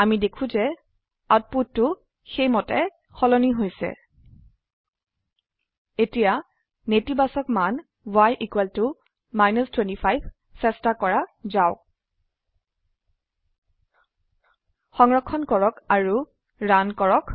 অামি দেখো যে আউটপুটটু সেইমতে তদুনসাৰে সলনি হৈছে এতিয়া নেতিবাচক মান y 25 চেস্তা কৰা যাওক সংৰক্ষণ কৰক আৰু ৰান কৰক